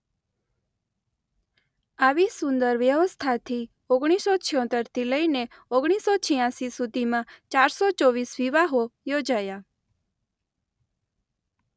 આવી સુંદર વ્યવસ્થાથી ઓગણીસો છોંતેર થી લઈને ઓગણીસો છ્યાંસી સુધીમાં ચારસો ચોવીસ વિવાહો યોજાયા.